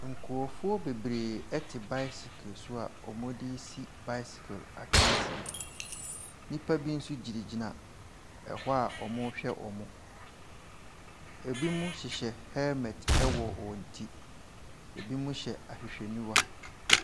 Nkrɔfoɔ bebree te bicycle a wɔde resi bycycle akansie. Nnipa bi nso gyinagyina hɔ a wɔrehwɛ wɔn. Ebinom hyehyɛ hel met wɔ wɔn ti. Ebinom hyɛ ahwehwɛniwa.